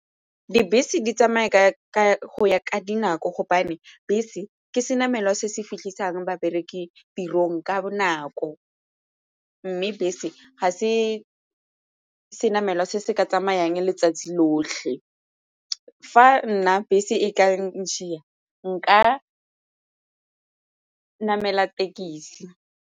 Dibese di tsamaya go ya ka dinako gobane bese ke se namelwa se se fitlhisang babereki tirong ka bonako mme bese ga se se namelwa se se ka tsamayang letsatsi lotlhe. Fa nna bese e ka ntshiya nka namela tekisi.